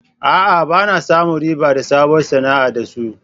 A'a, ba na samun riba a sabuwar sana'a da su.